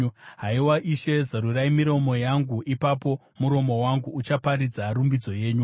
Haiwa Ishe, zarurai miromo yangu, ipapo muromo wangu uchaparidza rumbidzo yenyu.